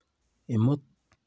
Amut.